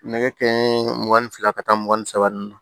Nɛgɛ ka ɲi mugan ni fila ka taa mugan ni saba ninnu na